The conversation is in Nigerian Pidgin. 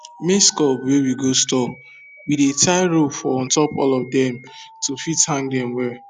maize cob wey we go store we dey tie rope for untop all of dem to fit hang dem well